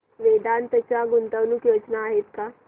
वेदांत च्या गुंतवणूक योजना आहेत का